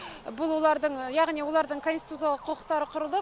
бұл олардың яғни олардың конституциялық құқықтары құрылды